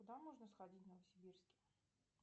куда можно сходить в новосибирске